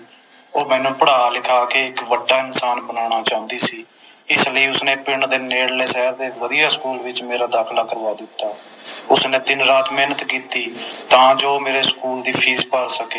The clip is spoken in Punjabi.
ਉਹ ਮੈਨੂੰ ਪੜ੍ਹਾ ਲਿਖਾ ਕੇ ਇਕ ਵੱਡਾ ਇਨਸਾਨ ਬਨਾਉਣਾ ਚਾਹੁੰਦੀ ਸੀ ਇਸ ਲਈ ਉਸਨੇ ਪਿੰਡ ਦੇ ਨੇੜਲੇ ਸ਼ਹਿਰ ਦੇ ਇਕ ਵਧੀਆ ਸਕੂਲ ਵਿਚ ਮੇਰਾ ਦਾਖਿਲਾ ਕਰਵਾ ਦਿੱਤਾ ਉਸਨੇ ਦਿਨ ਰਾਤ ਮੇਹਨਤ ਕੀਤੀ ਤਾ ਜੋ ਮੇਰੇ ਸਕੂਲ ਦੀ ਫੀਸ ਭਰ ਸਕੇ